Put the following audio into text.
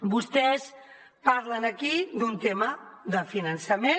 vostès parlen aquí d’un tema de finançament